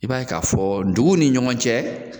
I b'a ye ka fɔ duguw ni ɲɔgɔn cɛ